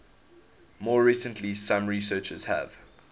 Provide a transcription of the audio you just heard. more recently some researchers have